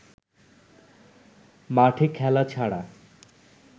মাঠে খেলা ছাড়া